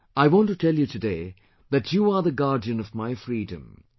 I want to tell you today that you are the guardian of my freedom,